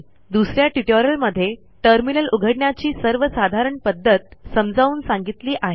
दुस या ट्युटोरियलमध्ये टर्मिनल उघडण्याची सर्वसाधारण पध्दत समजावून सांगितली आहे